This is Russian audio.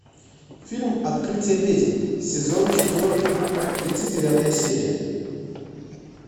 фильм открытие ведьм сезон четвертый тридцать девятая серия